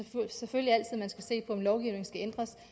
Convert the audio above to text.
selvfølgelig altid man skal se på om lovgivningen skal ændres